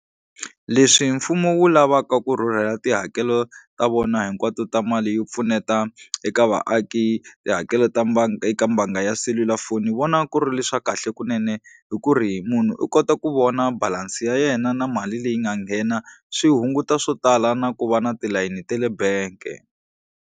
Leswi mfumo wu lavaka ku rhurhela tihakelo ta vona hinkwato ta mali yo pfuneta eka vaaki tihakelo ta eka mbanga ya selulafoni vona ku ri leswa kahle kunene hi ku ri munhu u kota ku vona balance ya yena na mali leyi nga nghena swi hunguta swo tala na ku va na tilayini ta le bank.